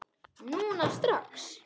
Núna strax?